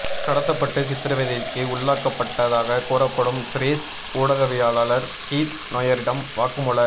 கடத்தப்பட்டு சித்திரவதைக்கு உள்ளாக்கப்பட்டதாக கூறப்படும் சிரேஷ்ட ஊடகவியலாளர் கீத் நொயரிடம் வாக்குமூல